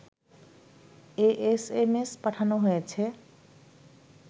a SMS পাঠানো হয়েছে